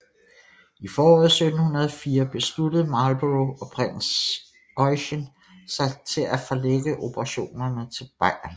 I foråret 1704 besluttede Marlborough og prins Eugen sig til at forlægge operationerne til Bayern